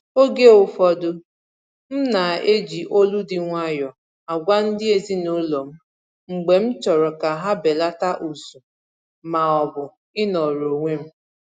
Oge ụfọdụ m ná-eji olu dị nwayọọ agwa ndị ezinụlọ m mgbe m chọrọ ka ha belata ụzụ maọbụ ịnọrọ onwe m